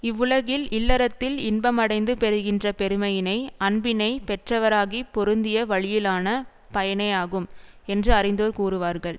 இவ்வுலகில் இல்லறத்தில் இன்பமடைந்து பெறுகின்ற பெருமையினை அன்பினை பெற்றவராகிப் பொருந்திய வழியினாலான பயனேயாகும் என்று அறிந்தோர் கூறுவார்கள்